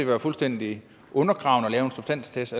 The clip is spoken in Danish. være fuldstændig undergravende at lave en substanstest